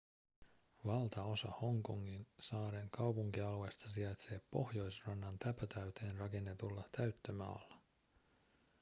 valtaosa hongkongin saaren kaupunkialueesta sijaitsee pohjoisrannan täpötäyteen rakennetulla täyttömaalla